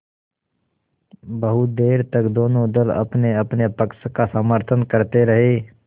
बहुत देर तक दोनों दल अपनेअपने पक्ष का समर्थन करते रहे